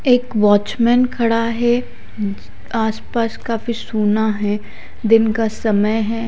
एक वॉचमैन खड़ा हैं आस पास काफी सुना हैं दिन का समय हैं।